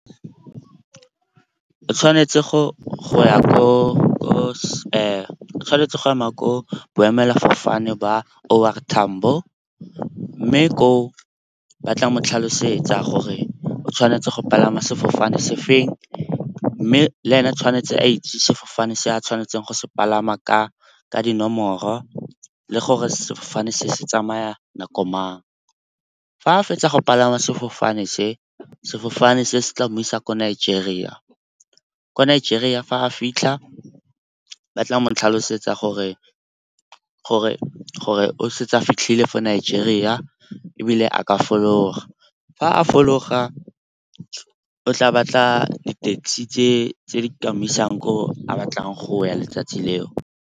O tshwanetse go ema ko boemelafofane ba O R Tambo mme ko o ba tla mo tlhalosetsa gore o tshwanetse go palama sefofane se feng. Mme le ene a tshwanetse a itse sefofane se a tshwanetseng go se palama ka dinomoro le gore sefofane se tsamaya nako mang. Fa a fetsa go palama sefofane se, sefofane se se tsamaisa ko Nigeria. Ko Nigeria fa a fitlha ba tla mo tlhalosetsa gore o setse o fitlhile fa Nigeria ebile a ka fologa. Fa a fologa o tla batla di-taxi tse di mo isang ko a batlang go ya letsatsi leo.